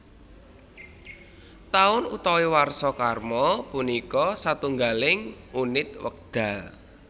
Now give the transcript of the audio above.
Taun utawi warsa krama punika satunggiling unit wekdal